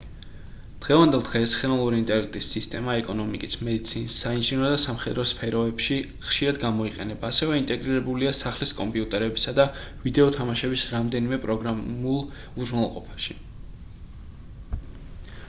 დღევანდელ დღეს ხელოვნური ინტელექტის სისტემა ეკონომიკის მედიცინის საინჟინრო და სამხედრო სფეროებში ხშირად გამოიყენება ასევე ინტეგრირებულია სახლის კომპიუტერებსა და ვიდეო თამაშების რამდენიმე პროგრამაშულ უზრუნველყოფაში